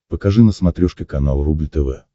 покажи на смотрешке канал рубль тв